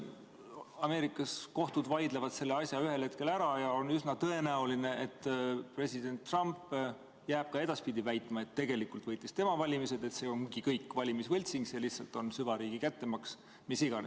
Ameerikas kohtud vaidlevad selle asja ühel hetkel ära ja on üsna tõenäoline, et president Trump jääb ka edaspidi väitma, et tegelikult võitis tema valimised ja et see ongi kõik valimisvõltsing, see lihtsalt on süvariigi kättemaks, mis iganes.